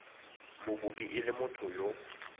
mokopi e le motho yo